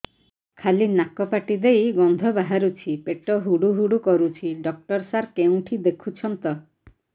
ଖାଲି ନାକ ପାଟି ଦେଇ ଗଂଧ ବାହାରୁଛି ପେଟ ହୁଡ଼ୁ ହୁଡ଼ୁ କରୁଛି ଡକ୍ଟର ସାର କେଉଁଠି ଦେଖୁଛନ୍ତ